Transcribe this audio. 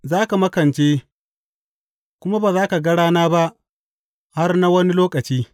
Za ka makance, kuma ba za ka ga rana ba har na wani lokaci.